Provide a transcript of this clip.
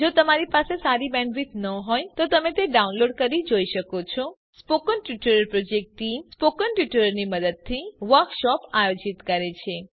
જો તમારી પાસે સારી બેન્ડવિડ્થ ન હોય તો તમે ડાઉનલોડ કરી તે જોઈ શકો છો spoken tutorial project team spoken ટ્યુટોરીયલોની મદદથી વર્કશોપ આયોજિત કરે છે